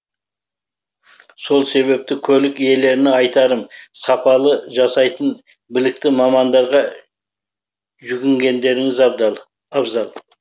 сол себепті көлік иелеріне айтарым сапалы жасайтын білікті мамандарға жүгінгендеріңіз абзал